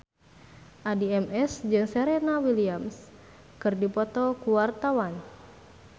Addie MS jeung Serena Williams keur dipoto ku wartawan